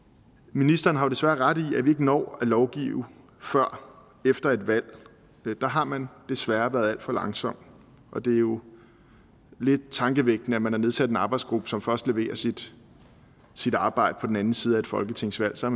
ministeren har desværre ret i at vi ikke når at lovgive før efter et valg der har man desværre været alt for langsom og det er jo lidt tankevækkende at man har nedsat en arbejdsgruppe som først leverer sit sit arbejde på den anden side af et folketingsvalg så